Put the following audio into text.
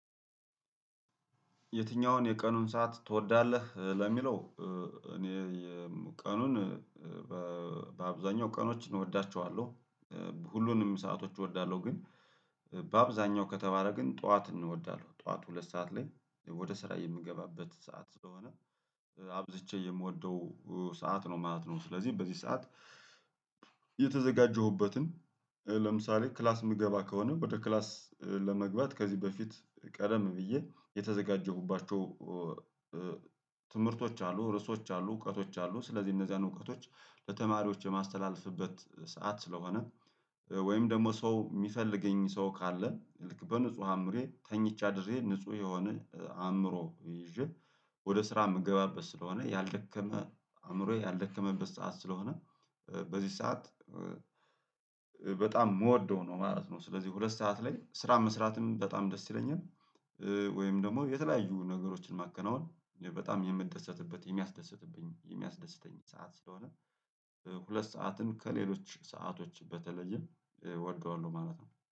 የትኛውን የቀኑን ሰዓት ትወዳለህ ለሚለው? እኔ ቀኑን በአብዛኛው ቀኖች እወዳቸዋለሁ ሁሉንም ሰአቶች እወዳለሁ ግን በአብዛኛው ከተባለ ግን ጠዋትን እወዳለሁ ጠዋት ሁለት ሰዓት ላይ ወደ ስራ የምገባበት ሰዓት ስለሆነ አብዝቼ የምወደው ሰዓት ነው ማለት ነው። ስለዚህ በዚህ ሰዓት የተዘጋጀሁበትን ለምሳሌ ክላስ የምገባ ከሆነ ወደ ክላስ ለመግባት ከዚህ በፊት ቀደም ብዬ የተዘጋጀሁባቸው ትምህርቶች አሉ ርዕሶች አሉ እውቀቶች አሉ ስለዚህ እነዚያን እውቀቶች ለተማሪዎች የማስተላልፍበት ሰዓት ስለሆነ። ወይም ደግሞ ሰው የሚፈልገኝ ሰው ካለ ልክ በንጹህ አእምሮዬ ተኝቼ አድርጌ ንጹህ የሆነ አእምሮ ይዤ ወደ ስራ የምገባበት ስለሆነ ያልደከመ አእምሮዬ ያልደከመበት ሰዓት ስለሆነ በዚህ ሰዓት በጣም የምወደው ነው ማለት ነው። ስለዚህ ሁለት ሰዓት ላይ ስራ መስራትም በጣም ደስ ይለኛል። ወይም ደግሞ የተለያዩ ነገሮችን ማከናወን በጣም የምደሰትበት የሚያስደስትብኝ የሚያስደስተኝ ሰዓት ስለሆነ ሁለት ሰዓትን ከሌሎች ሰአቶች በተለየ እወደዋለሁ ማለት ነው